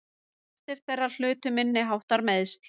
Flestir þeirra hlutu minniháttar meiðsl